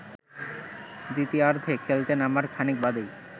দ্বিতীয়ার্ধে খেলতে নামার খানিক বাদেই